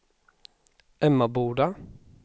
Emmaboda